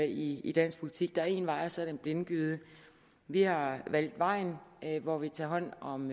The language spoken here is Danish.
i i dansk politik der er én vej og så er der en blindgyde vi har valgt vejen hvor vi tager hånd om